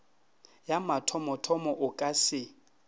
ya mathomothomo o ka se